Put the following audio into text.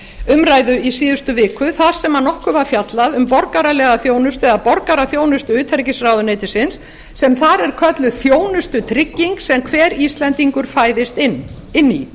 umræðu í síðustu viku þar sem nokkuð var fjallað um borgaralega þjónustu eða borgaraþjónustu utanríkisráðuneytisins sem þar er kölluð þjónustutrygging sem hver íslendingur fæðist inn í